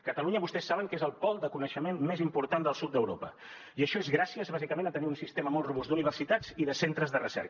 catalunya vostès saben que és el pol de coneixement més important del sud d’europa i això és gràcies bàsicament a tenir un sistema molt robust d’universitats i de centres de recerca